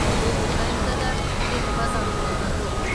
овертаймда да жеңімпаз анықталған жоқ